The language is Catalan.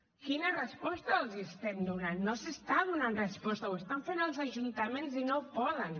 quina resposta els estem donant no s’està donant resposta ho estan fent els ajuntaments i no poden